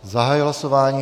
Zahajuji hlasování.